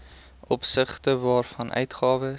opsigte waarvan uitgawes